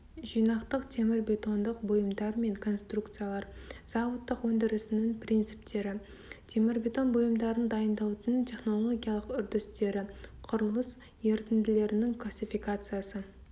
жинақтық темірбетондық бұйымдар мен конструкциялар зауыттық өндірісінің принциптері темірбетон бұйымдарын дайындаудың технологиялық үрдістері құрылыс ерітінділерінің классификациясы